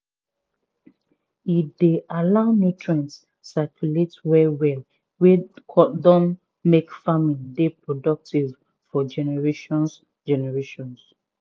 e dey allow nutrient circulate well well wey don make farming dey productive for generations generations